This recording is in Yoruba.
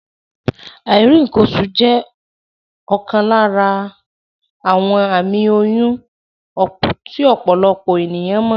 Àìrí ǹǹkan oṣù jẹ́ ọ̀kan lára àwọn àmì oyún tí ọ̀pọ̀lọpọ̀ ènìyán mọ̀